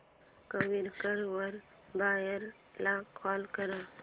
Quikr वर buyer ला call कर